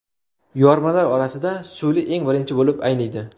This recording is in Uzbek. Yormalar orasida suli eng birinchi bo‘lib ayniydi.